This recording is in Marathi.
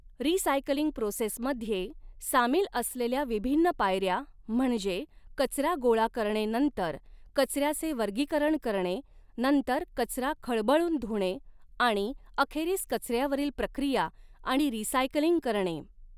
रिसायकलिंग प्रोसेस मध्ये सामिल असलेल्या विभिन्न पायऱ्या म्हणजे कचरा गोळा करणे नंतर कचऱ्याचे वर्गीकरण करणे नंतर कचरा खळबळून धुणे आणि अखेरीस कचऱ्यावरील प्रक्रिया आणि रिसायकलिंग करणे.